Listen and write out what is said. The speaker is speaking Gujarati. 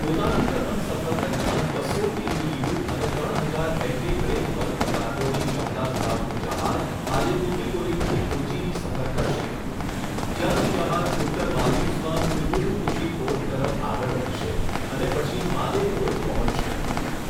પોતાની પ્રથમ સફર દરમિયાન બસો ટીઇયુ અને ત્રણ હજાર એમટી બ્રેક બલ્ક કાર્ગોની ક્ષમતા ધરાવતું જહાજ આજે તુતિકોરિનથી કોચીની સફર કરશે, જ્યાંથી જહાજ ઉત્તર માલદીવસમાં કુલ્હુધુફુશી પોર્ટ તરફ આગળ વધશે અને પછી માલે પોર્ટ પહોંચશે.